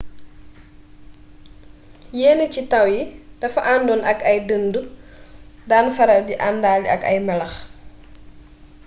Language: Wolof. yenn ci taw yi dafa àndoon ak ay dëndu daan faral di àndaale ak ay melax